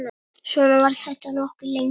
Svona var þetta nokkuð lengi.